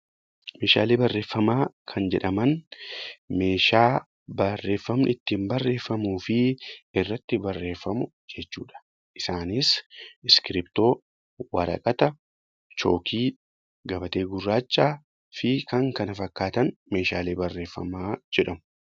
Meeshaalee barreeffamaa kan jedhaman, meeshaa barreeffamni ittiin barreeffamuu fi irratti barreeffamu jechuudha. Isaanis iskiriiptoo, waraqata, chookii , gabatee gurraacha fi kan kana fakkaatan Meeshaalee barreeffamaa jedhamu.